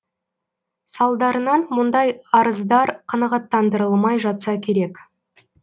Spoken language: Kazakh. салдарынан мұндай арыздар қанағаттандырылмай жатса керек